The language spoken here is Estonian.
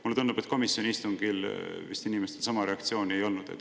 Mulle tundub, et komisjoni istungil inimestel sama reaktsiooni ei olnud.